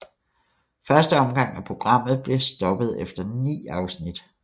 Første omgang af programmet blev stoppet efter ni afsnit